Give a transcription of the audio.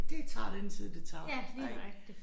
Det tager den tid det tager ik